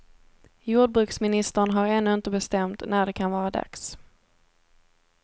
Jordbruksministern har ännu inte bestämt när det kan vara dags.